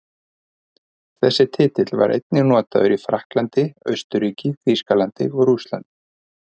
Þessi titill var einnig notaður í Frakklandi, Austurríki, Þýskalandi og Rússlandi.